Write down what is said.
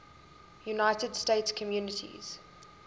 united states communities